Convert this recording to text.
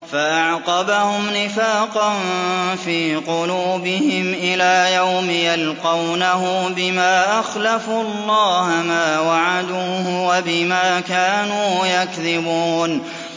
فَأَعْقَبَهُمْ نِفَاقًا فِي قُلُوبِهِمْ إِلَىٰ يَوْمِ يَلْقَوْنَهُ بِمَا أَخْلَفُوا اللَّهَ مَا وَعَدُوهُ وَبِمَا كَانُوا يَكْذِبُونَ